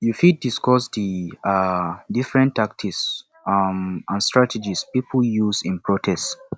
you fit discuss di um different tactics um and strategies people used in protest